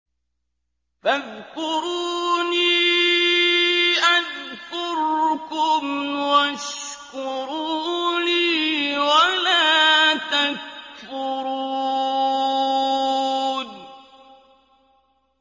فَاذْكُرُونِي أَذْكُرْكُمْ وَاشْكُرُوا لِي وَلَا تَكْفُرُونِ